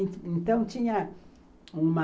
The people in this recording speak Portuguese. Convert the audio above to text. Então, tinha uma...